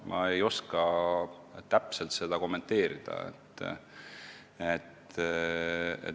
Ma ei oska seda täpselt kommenteerida.